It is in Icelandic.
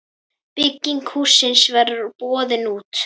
Bygging hússins verður boðin út.